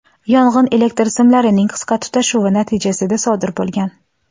Yong‘in elektr simlarining qisqa tutashuvi natijasida sodir bo‘lgan.